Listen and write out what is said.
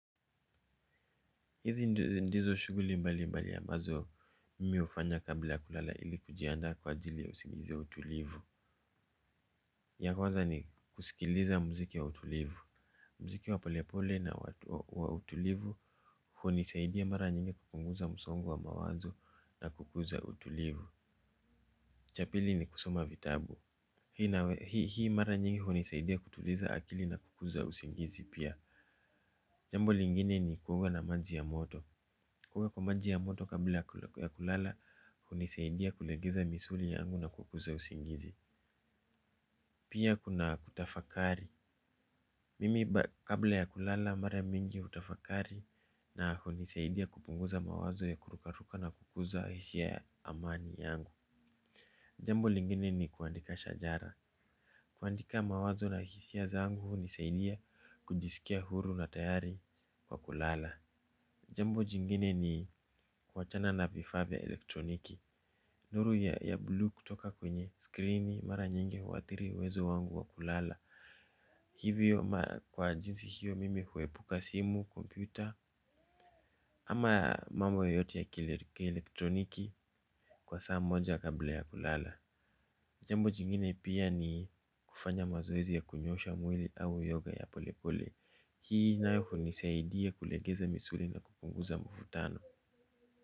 Hizi ndizo shughuli mbali mbali ambazo mimi hufanya kabla ya kulala ili kujianda kwa ajili ya usingizi na utulivu. Ya kwaza ni kusikiliza mziki wa utulivu. Mziki wa polepole na wa utulivu hunisaidia mara nyingi kupunguza msongo wa mawanzo na kukuza utulivu. Cha pili ni kusoma vitabu. Hii mara nyingi hunisaidia kutuliza akili na kukuza usingizi pia Jambo lingine ni kuoga na maji ya moto Kuoga kwa maji ya moto kabla ya kulala, hunisaidia kulegeza misuli yangu na kukuza usingizi. Pia kuna kutafakari. Mimi kabla ya kulala, mara mingi hutafakari na hunisaidia kupunguza mawazo ya kurukaruka na kukuza hisia amani yangu. Jambo lingine ni kuandika shajara. Kuandika mawazo na hisia zangu, hunisaidia kujisikia huru na tayari kwa kulala. Jambo jingine ni kwa chana na vifaa vya elektroniki. Nuru ya blue kutoka kwenye scriini mara nyingi huatiri uezo wangu wa kulala. Hivyo kwa jinsi hiyo mimi huepuka simu, kompyuta, ama mambo yoyote ya kielektroniki kwa saa moja kabla ya kulala. Jambo jingine pia ni kufanya mazoezi ya kunyosha mwili au yoga ya pole pole. Hii nayo nisaidia kulegeza misuli na kupunguza mvutano.